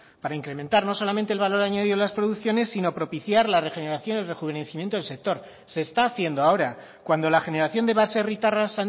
para incrementar no solamente el valor añadido a las producciones sino propiciar la regeneración y rejuvenecimiento del sector se está haciendo ahora cuando la generación de baserritarras